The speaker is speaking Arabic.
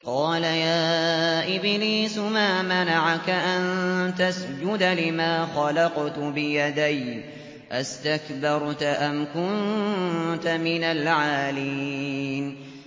قَالَ يَا إِبْلِيسُ مَا مَنَعَكَ أَن تَسْجُدَ لِمَا خَلَقْتُ بِيَدَيَّ ۖ أَسْتَكْبَرْتَ أَمْ كُنتَ مِنَ الْعَالِينَ